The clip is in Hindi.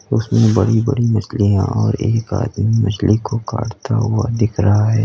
उसमें बड़ी बड़ी मछलियां और एक आदमी मछली को काटता हुआ दिख रहा है।